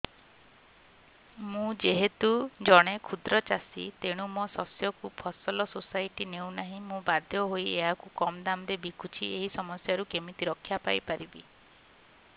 ମୁଁ ଯେହେତୁ ଜଣେ କ୍ଷୁଦ୍ର ଚାଷୀ ତେଣୁ ମୋ ଶସ୍ୟକୁ ଫସଲ ସୋସାଇଟି ନେଉ ନାହିଁ ମୁ ବାଧ୍ୟ ହୋଇ ଏହାକୁ କମ୍ ଦାମ୍ ରେ ବିକୁଛି ଏହି ସମସ୍ୟାରୁ କେମିତି ରକ୍ଷାପାଇ ପାରିବି